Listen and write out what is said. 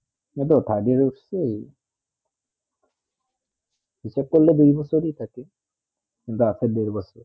এই তো third year হচ্ছেই হিসাৱ করলে দুই বছর ই থাকে কিন্তু আছে ঢের বোঝার